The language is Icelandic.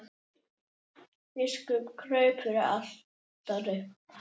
Biskup kraup fyrir altari.